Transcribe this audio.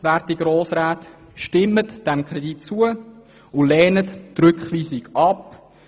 Werte Grossräte, stimmen Sie dem Kredit zu und lehnen Sie den Rückweisungsantrag ab.